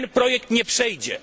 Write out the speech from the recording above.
Ten projekt nie przejdzie.